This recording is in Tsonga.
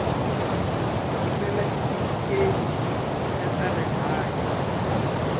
rhumela xitifiketi xa swa rihanyu